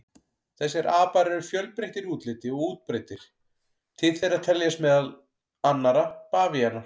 Þessir apar eru fjölbreyttir í útliti og útbreiddir, til þeirra teljast meðal annarra bavíanar.